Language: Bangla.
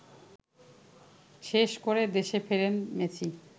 শেষ করে দেশে ফেরেন মেসি